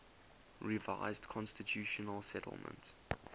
revised constitutional settlement